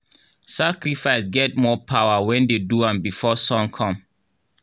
sacrifice get more power when dem do am before sun come.